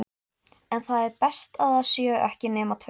En það er best að það séu ekki nema tveir.